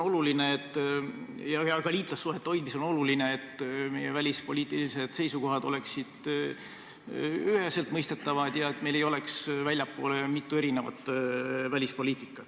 Väikeriigina liitlassuhete hoidmisel on oluline, et meie välispoliitilised seisukohad oleksid üheselt mõistetavad, et meil ei oleks väljapoole kuvatavat mitu erinevat välispoliitikat.